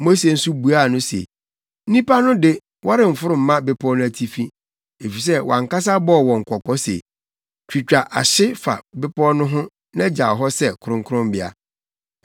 Mose nso buaa no se, “Nnipa no de, wɔremforo mma bepɔw no atifi, efisɛ wʼankasa bɔɔ wɔn kɔkɔ se, ‘Twitwa ahye fa bepɔw no ho na gyaw hɔ sɛ kronkronbea.’ ”